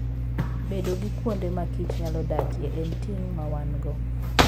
Bedo gi kuonde ma kich nyalo dakie, en ting ' ma wan - go.